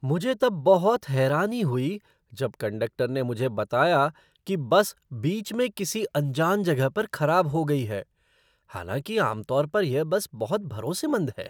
मुझे तब बहुत हैरानी हुई जब कंडक्टर ने मुझे बताया कि बस बीच में किसी अनजान जगह पर खराब हो गई है, हालांकि आम तौर पर यह बस बहुत भरोसेमंद है।